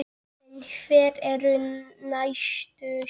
En hver eru næstu skref?